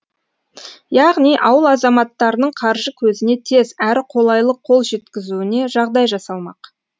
яғни ауыл азаматтарының қаржы көзіне тез әрі қолайлы қол жеткізуіне жағдай жасалмақ